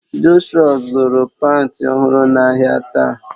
Jọshụa zuru panti ọhụrụ n'ahia taa